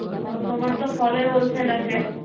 তোমার তো ফলের Hol Sell আছে